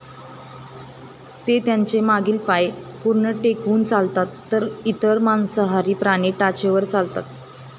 ते त्यांचे मागील पाय पूर्ण टेकवून चालतात तर इतर मांसाहारी प्राणी टाचेवर चालतात